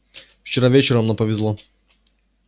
вчера вечером нам повезло